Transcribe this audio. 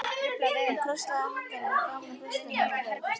Hann krosslagði handleggina framan á brjóstinu og beið.